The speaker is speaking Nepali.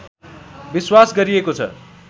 विश्वास गरिएको छ